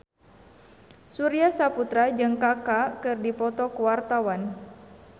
Surya Saputra jeung Kaka keur dipoto ku wartawan